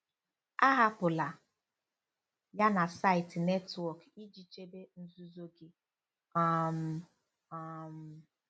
Ahapụla ya na saịtị netwọk iji chebe nzuzo gị. um um